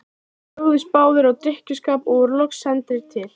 Þeir lögðust báðir í drykkjuskap og voru loks sendir til